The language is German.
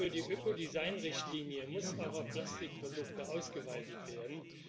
Die Ökodesign Richtlinie muss auch auf Plastikprodukte ausgeweitet werden.